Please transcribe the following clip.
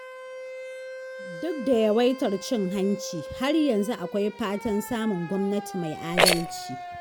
Duk da yawaitar cin hanci, har yanzu akwai fatan samun gwamnati mai adalci.